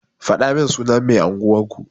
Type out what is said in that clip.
Fadamin sunan mai unguwan ku.